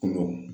Kɔɲɔ